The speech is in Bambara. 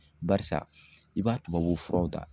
Barisa i b'a tubabu furaw ta.